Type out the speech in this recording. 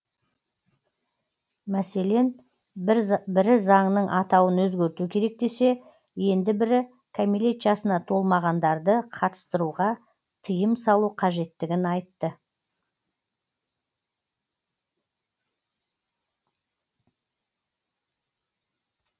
мәселен бірі заңның атауын өзгерту керек десе енді бірі кәмелет жасына толмағандарды қатыстыруға тиым салу қажеттігін айтты